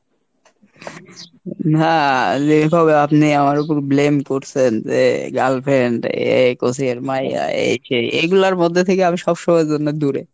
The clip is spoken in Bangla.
নাহ যেভাবে আপনে আমার উপর blame করছেন যে girlfriend এই coaching এর মাইয়্যা এই সেই এইগুলার মধ্যে থেকে আমি সবসময় এর জন্য দূরে।